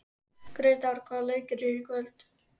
Gretar, hvaða leikir eru í kvöld?